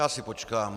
Já si počkám.